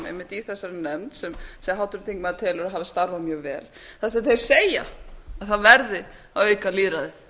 einmitt í þessari nefnd sem háttvirtur þingmaður telur að hafi starfað mjög vel þar sem þeir segja að það verði að auka lýðræðið